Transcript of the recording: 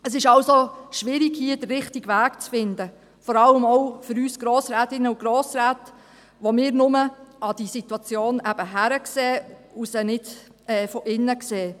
Es ist also schwierig, hier den richtigen Weg zu finden, vor allem auch für uns Grossrätinnen und Grossräte, die wir nur von aussen auf diese Situation blicken können und sie nicht von innen kennen.